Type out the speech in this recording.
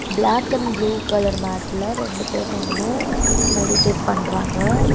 Black and blue colour மேட்ல ரெண்டு பேர் நின்னு மெடிடேட் பண்றாங்க.